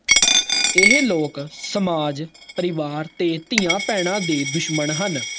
ਇਹ ਲੋਕ ਸਮਾਜ ਪ੍ਰਵਾਰ ਤੇ ਧੀਆਂ ਪੈਣਾ ਦੇ ਦੁਸ਼ਮਣ ਹਨ